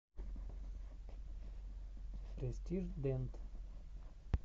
престиж дент